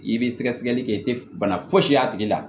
I bɛ sɛgɛsɛgɛli kɛ i tɛ bana foyi si y'a tigi la